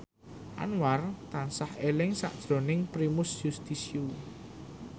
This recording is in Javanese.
Anwar tansah eling sakjroning Primus Yustisio